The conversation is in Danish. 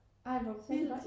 Ej hvor vildt